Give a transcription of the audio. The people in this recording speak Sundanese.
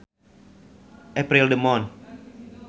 April the month